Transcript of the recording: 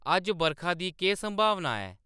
अज्ज बरखा दी केह् संभावना ऐ